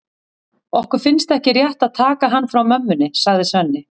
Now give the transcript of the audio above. Okkur finnst ekki rétt að taka hann frá mömmunni, sagði Svenni.